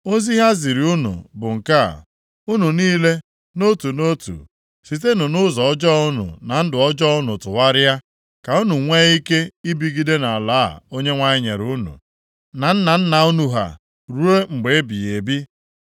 Ozi ha ziri unu bụ nke a, “Unu niile nʼotu nʼotu sitenụ nʼụzọ ọjọọ unu na ndụ ọjọọ unu tụgharịa, ka unu nwee ike ibigide nʼala a Onyenwe anyị nyere unu na nna nna unu ha ruo mgbe ebighị ebi.